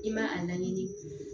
I ma a laɲini